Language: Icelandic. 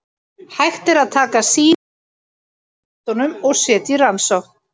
Hægt er að taka sýni úr útbrotunum og setja í rannsókn.